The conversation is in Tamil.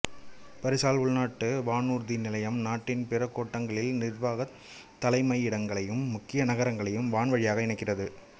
பரிசால் உள்நாட்டு வானூர்தி நிலையம் நாட்டின் பிற கோட்டங்களின் நிர்வாகத் தலைமையிடங்களையும் முக்கிய நகரங்களையும் வான் வழியாக இணைக்கிறது